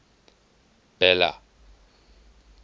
bela